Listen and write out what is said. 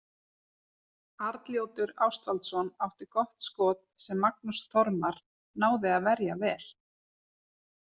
Arnljótur Ástvaldsson átti gott skot sem Magnús Þormar náði að verja vel.